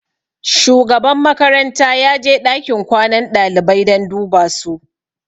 Shugaban makaranta ya je ɗakin kwanan ɗalibai don duba su.